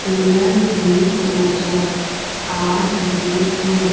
Cooler भी नजर आ रहे है।